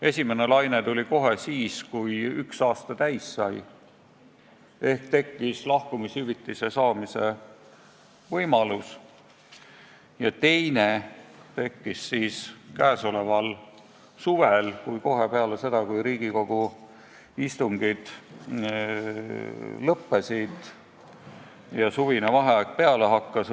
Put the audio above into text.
Esimene laine tuli kohe siis, kui üks aasta täis sai ehk tekkis lahkumishüvitise saamise võimalus, ja teine tekkis käesoleval suvel, kohe peale seda, kui Riigikogu istungid lõppesid ja suvine vaheaeg peale hakkas.